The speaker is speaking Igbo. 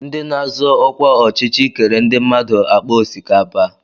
Ndị na-azọ ọkwa ọchịchị kere ndị mmadụ àkpà osikapa.